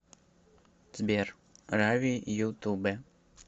сбер рави ютуб